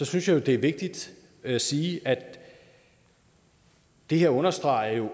synes jeg jo det er vigtigt at sige at det her understreger